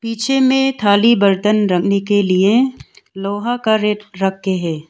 पीछे में थाली बर्तन रखने के लिए लोहा का रैक रखे हैं।